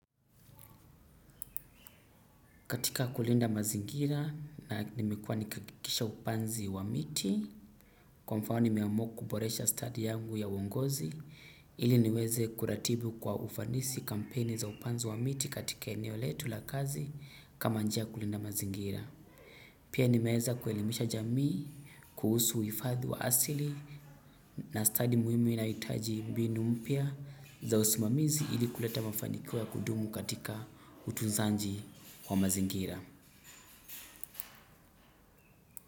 Katika kulinda mazingira na nimekua nikihakikisha upanzi wa miti, kwa mfano nimeamua boresha study yangu ya uongozi, ili niweze kuratibu kwa ufanisi kampeni za upanzi wa miti katika eneo letu la kazi kama njia ya kulinda mazingira. Pia nimeeza kuelimisha jamii, kuhusu uifadhi wa asili na study muhimu inahitaji mbinu mpya za usimamizi ili kuleta mafanikio ya kudumu katika utunzanji wa mazingira.